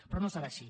però no serà així